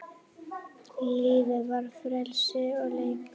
Lífið var frelsi og leikur.